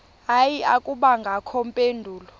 hayi akubangakho mpendulo